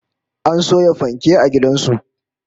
An soya fanke a gidan su